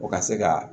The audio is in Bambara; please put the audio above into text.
O ka se ka